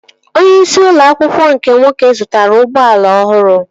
Onye isi ụlọ akwụkwọ ahụ nke nwoke zụtara ụgbọala ọhụrụ